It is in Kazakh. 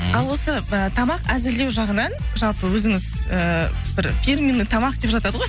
ал осы ы тамақ әзірлеу жағынан жалпы өзіңіз ыыы бір фирменный тамақ деп жатады ғой